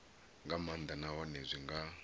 nga maanḓa nahone zwi nga